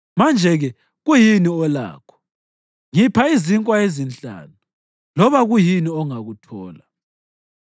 Manje-ke, kuyini olakho? Ngipha izinkwa ezinhlanu, loba kuyini ongakuthola.”